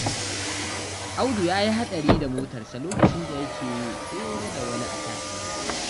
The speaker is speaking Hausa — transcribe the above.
Audu ya yi haɗari da motarsa lokacin da yake tsere da wani a kan hanya.